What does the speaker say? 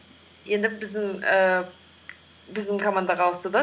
енді біздің ііі біздің командаға ауысты да